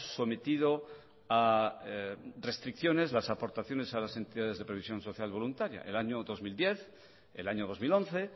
sometido a restricciones las aportaciones a las entidades de previsión social voluntaria el año dos mil diez el año dos mil once